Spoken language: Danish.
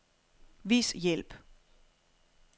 Vis hjælp.